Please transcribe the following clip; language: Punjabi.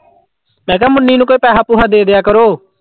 ਮੈਂ ਕਿਹਾ ਮੁੰਨੀ ਨੂੰ ਕੋਈ ਪੈਸਾ ਪੂਸਾ ਦੇ ਦਿਆ ਕਰੋ।